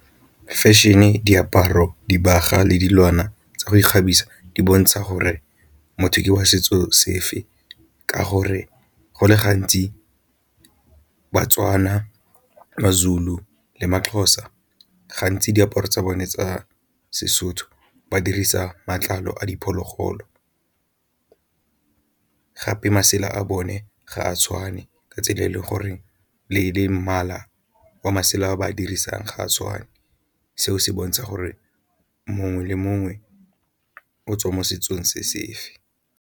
Fashion-e, diaparo, dibagwa le dilwana tsa go ikgabisa di bontsha gore motho ke wa setso sefe ka gore go le gantsi baTswana maZulu le maXhosa gantsi diaparo tsa bone tsa Sesotho ba dirisa matlalo a diphologolo. Gape masela a bone ga a tshwane ka tsela e le gore le mmala wa masela a ba a dirisang ga a tshwane, seo se bontsha gore mongwe le mongwe o tswa mo setsong se se fe.